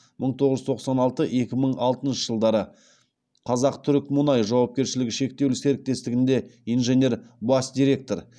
мың тоғыз жүз тоқсан алты екі мың алтыншы жылдары қазақтүрікмұнай жауапкершілігі шектеулі серіктестігінде инженер бас директор